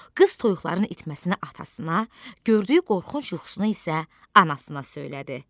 Qız toyuqların itməsinə atasına, gördüyü qorxunc yuxusunu isə anasına söylədi.